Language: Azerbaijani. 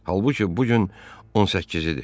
Halbuki bu gün 18-dir.